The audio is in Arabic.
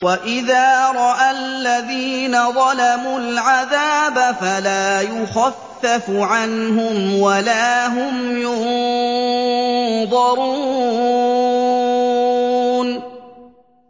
وَإِذَا رَأَى الَّذِينَ ظَلَمُوا الْعَذَابَ فَلَا يُخَفَّفُ عَنْهُمْ وَلَا هُمْ يُنظَرُونَ